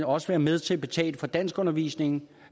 også være med til at betale for danskundervisningen